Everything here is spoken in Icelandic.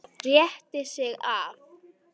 Rétti sig af.